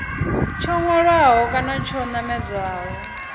tsho hwalaho kana tsho namedzaho